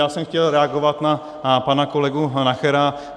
Já jsem chtěl reagovat na pana kolegu Nachera.